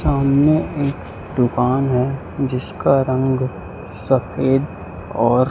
सामने एक दुकान है जिसका रंग सफेद और--